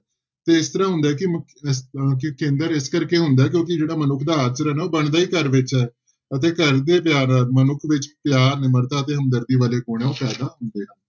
ਤੇ ਇਸ ਤਰ੍ਹਾਂ ਹੁੰਦਾ ਹੈ ਕਿ ਮ~ ਇਸ ਤਰ੍ਹਾਂ ਕਿ ਕੇਂਦਰ ਇਸ ਕਰਕੇ ਹੁੰਦਾ ਕਿਉਂਕਿ ਜਿਹੜਾ ਮਨੁੱਖ ਦਾ ਆਚਰਣ ਆ ਉਹ ਬਣਦਾ ਹੀ ਘਰ ਵਿੱਚ ਹੈ ਅਤੇ ਘਰ ਦੇ ਪਿਆਰ ਨਾਲ ਮਨੁੱਖ ਵਿੱਚ ਪਿਆਰ, ਨਿਮਰਤਾ ਤੇ ਹਮਦਰਦੀ ਵਾਲੇ ਗੁਣ ਹੈ ਉਹ ਪੈਦਾ ਹੁੰਦੇ ਹਨ।